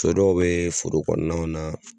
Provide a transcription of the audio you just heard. Co dɔ bɛ foro kɔnɔna na.